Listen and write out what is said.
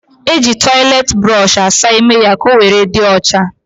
E ji toiletiburoshi asa ímé ya ka owere dị ocha